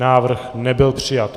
Návrh nebyl přijat.